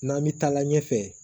N'an mi taa la ɲɛfɛ